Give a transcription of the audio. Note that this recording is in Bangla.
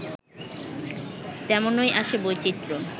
তেমনই আসে বৈচিত্র্য